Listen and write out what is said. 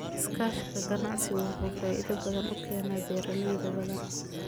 Iskaashiga ganacsigu wuxuu faa'iido u keenaa beeralay badan.